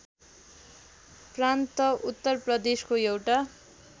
प्रान्त उत्तरप्रदेशको एउटा